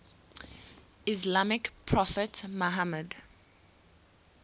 islamic prophet muhammad